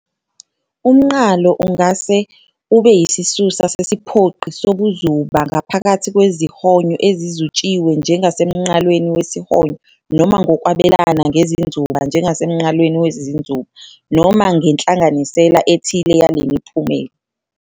Umnqalo ungase ube yisisusa sesiphoqi sobuzuba ngaphakathi kwezihonyo ezizutshiwe njengasemnqalweni wesihonyo noma ngokwabelana ngezinzuba njengasemnqalweni wezinzuba, noma ngenhlanganisela ethile yale miphumela.